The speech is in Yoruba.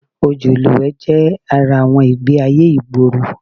Odò ìlúwẹ̀ẹ́ jẹ́ ara àwọn ìgbé-ayé ìgboro